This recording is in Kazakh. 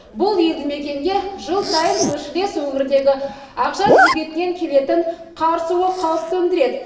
бұл елді мекенге жыл сайын көршілес өңірдегі ақжар бөгетінен келетін қар суы қауіп төндіреді